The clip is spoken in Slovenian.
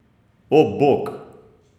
O, bog!